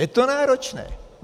Je to náročné.